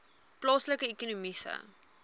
plaaslike ekonomiese